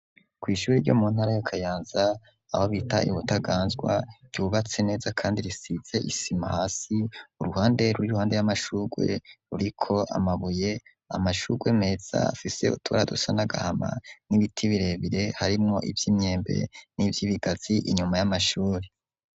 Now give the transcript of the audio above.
Kwishure ryo muntara yo Kayanza aho bita ibutaganzwa ryubatse neza kandi risize isima hasi, uruhande rw'iruhande y'amashurwe ruriko amabuye amashurwe meza afise utubara dusa n'agahama n'ibiti birebire, harimo ivy'imyembe n'ivyibigazi inyuma y'amashuri.